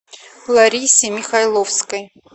ларисе михайловской